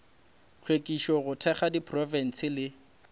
hlwekišo go thekga diprofense le